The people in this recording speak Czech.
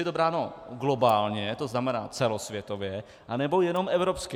Je-li to bráno globálně, to znamená celosvětově, nebo jenom evropsky.